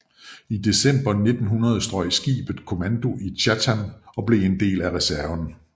I december 1900 strøg skibet kommando i Chatham og blev en del af reserven